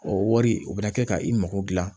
O wari o bɛ na kɛ ka i mago dilan